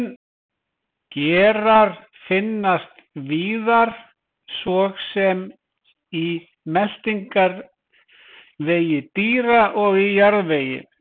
Gerar finnast víðar svo sem í meltingarvegi dýra og í jarðvegi.